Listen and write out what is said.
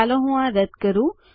ચાલો હું આ રદ કરું